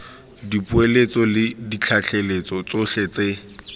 dipoeletso le ditlaleletso tsotlhe tse